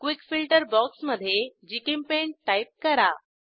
quick filter box मधे GChemPaint type करा